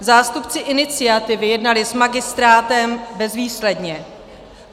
Zástupci iniciativy jednali s magistrátem bezvýsledně.